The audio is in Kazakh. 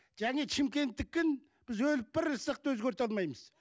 және шымкенттікін біз өліп бара жатсақ та өзгерте алмаймыз